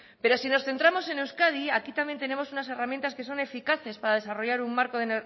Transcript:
pero si nos centramos en euskadi aquí también tenemos unas herramientas que son eficaces para desarrollar un marco de